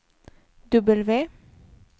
W